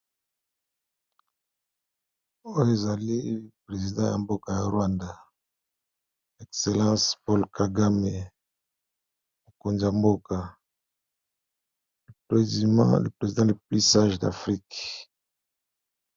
oyo ezali president ya mboka ya rwanda excellence paul kagame mokonzi ya mboka le president le plus sage d'afrika.